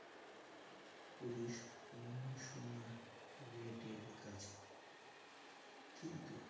police commissionerate এর কাছে কিন্তু